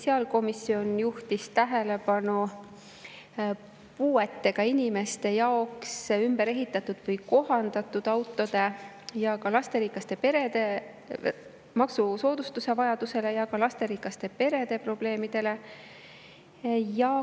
Sotsiaalkomisjon juhtis tähelepanu vajadusele teha maksusoodustusi puuetega inimeste jaoks ümber ehitatud või kohandatud autode, samuti lasterikastele peredele.